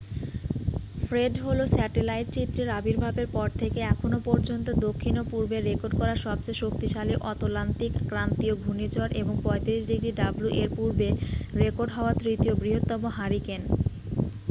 Fred হলো satellite চিত্রের আবির্ভাবের পর থেকে এখনও পর্যন্ত দক্ষিণ ও পূর্বে রেকর্ড করা সবচেয়ে শক্তিশালী অতলান্তিক ক্রান্তীয় ঘূর্ণিঝড় এবং 35°w-এর পূর্বে রেকর্ড হওয়া তৃতীয় বৃহত্তম হারিকেন।